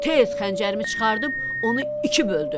Tez xəncərimi çıxarıb onu iki böldüm.